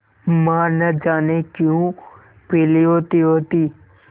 माँ न जाने क्यों पीली होतीहोती